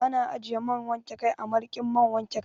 Ana ajiye man wanke kai a marikin man wanke kai.